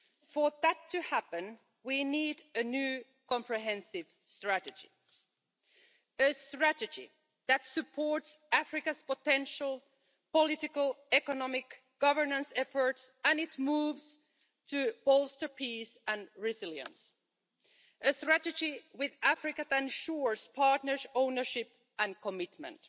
For that to happen, we need a new, comprehensive strategy, a strategy that supports Africa's potential political economic governance efforts and moves to bolster peace and resilience, a strategy with Africa that ensures partners' ownership and commitment,